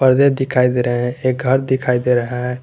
पर्दे दिखाई दे रहे हैं एक घर दिखाई दे रहे है।